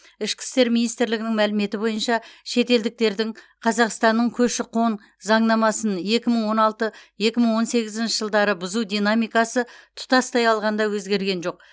ішкі істер министрлігінің мәліметі бойынша шетелдіктердің қазақстанның көші қон заңнамасын екі мың он алты екі мың он сегізінші жылдары бұзу динамикасы тұтастай алғанда өзгерген жоқ